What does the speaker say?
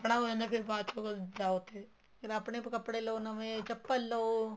ਆਪਣਾ ਹੋ ਜਾਂਦਾ ਹੈ ਫ਼ਿਰ ਬਾਹ ਚੋ ਜਾਓ ਉੱਥੇ ਫ਼ੇਰ ਆਪਣੇ ਕੱਪੜੇ ਲਓ ਨਵੇਂ ਚੱਪਲ ਲਓ